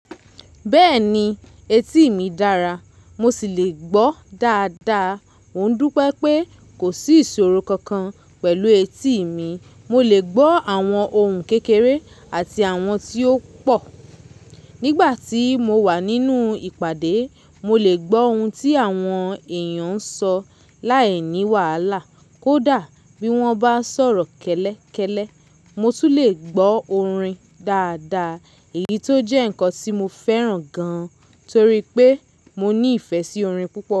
Bẹ́ẹ̀ni, etí mi dára mo sì le gbọ́ dáadáa. Mò ń dúpẹ́ pé kò sí ìṣòro kankan pẹ̀lú etí mi. Mo lè gbọ́ àwọn ohùn kékeré àti àwọn tí ó pọ̀. Nígbà tí mo wà nínú ìpàdé, mo lè gbọ́ ohun tí àwọn èèyàn ń sọ láìní wàhálà kó dà bí wọ́n bá ń sọ̀rọ̀ kẹ́lẹ́kẹ́lẹ́. Mo tún lè gbọ́ orin dáadáa èyí tó jẹ́ ǹkan tí mo fẹ́ràn gan torí pé mo ní ìfẹ́ sí orin púpọ̀